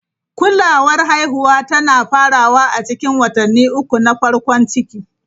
Kulawar haihuwa tana farawa a cikin watanni uku na farkon ciki.